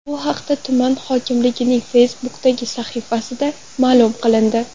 Bu haqda tuman hokimligining Facebook’dagi sahifasida ma’lum qilindi .